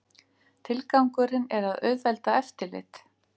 Tilgangurinn er að auðvelda eftirlit